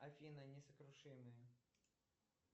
афина несокрушимые